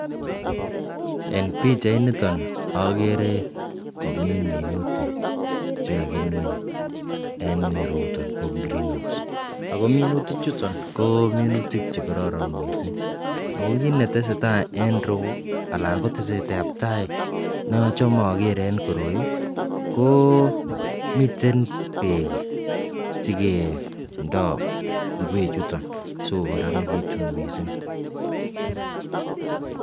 En pichainiton okere komii minutik chekakimin en ireyuton ko green house ako minutik chuton ko minutk chekororon missing ako kit nesetai en iroyuu anan ko tesetab tai ne ochome okere en koroi. Miten ingwek chekindo sikokororonekitun missing.